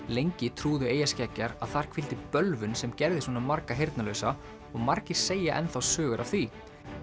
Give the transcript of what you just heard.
lengi trúðu eyjarskeggjar að þar hvíldi bölvun sem gerði svona marga heyrnarlausa og margir segja sögur af því